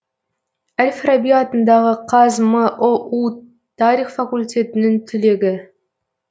әл фараби атындағы қазмұу тарих факультетінің түлегі